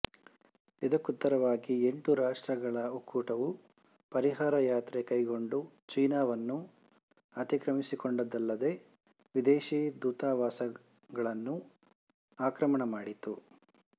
ಇದಕ್ಕುತ್ತರವಾಗಿ ಎಂಟು ರಾಷ್ಟ್ರಗಳ ಒಕ್ಕೂಟವು ಪರಿಹಾರ ಯಾತ್ರೆ ಕೈಗೊಂಡು ಚೀನಾವನ್ನು ಅತಿಕ್ರಮಿಸಿಕೊಂಡುದಲ್ಲದೆ ವಿದೇಶೀ ದೂತಾವಾಸಗಳನ್ನು ಆಕ್ರಮಣ ಮಾಡಿತು